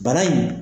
Bana in